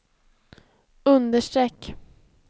understreck